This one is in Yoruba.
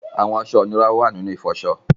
Àwọn aṣọ̀ inúrà wà nínu ifọṣọ̀.